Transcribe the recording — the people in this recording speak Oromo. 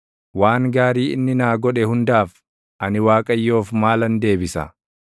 Waan gaarii inni naa godhe hundaaf, ani Waaqayyoof maalan deebisa?